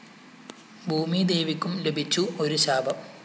ഭൂമിദേവിക്കും ലഭിച്ചു ഒരു ശാപം